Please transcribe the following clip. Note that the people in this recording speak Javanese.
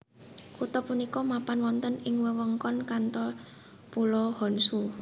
Kutha punika mapan wonten ing wewengkon Kanto Pulo Honshu